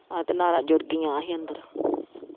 ਆਹ ਤੇ ਨਾੜਾਂ ਜੁੜ ਗਈਆਂ ਹੀ ਅੰਦਰ।